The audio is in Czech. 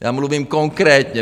Já mluvím konkrétně.